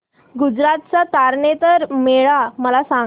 गुजरात चा तारनेतर मेळा मला सांग